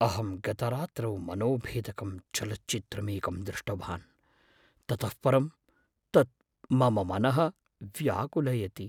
अहं गतरात्रौ मनोभेदकं चलच्चित्रमेकं दृष्टवान्, ततः परं तत् मम मनः व्याकुलयति।